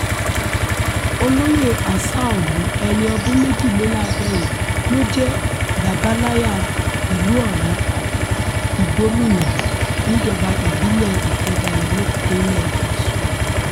olóyè aṣáọ̀lù ẹni ọdún méjìléláàádọ́rin ló jẹ́ bàbàláyà ìlú ọ̀rá ìgbómìnà níjọba ìbílẹ̀ ifedayo nípínlẹ̀ ọ̀sùn